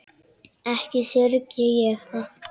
Ekki syrgi ég það.